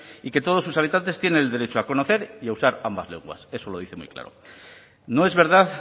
y que todos sus habitantes tienen el derecho a conocer y a usar ambas lenguas eso lo dice muy claro no es verdad